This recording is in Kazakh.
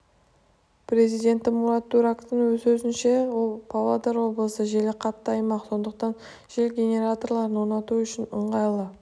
президенті мурат дурактың сөзінше павлодар облысы желі қатты аймақ сондықтан жел генераторларын орнату үшін ыңғайлы